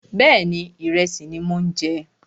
Bẹ́ẹ̀ni, ìrẹsì ni mò ń jẹ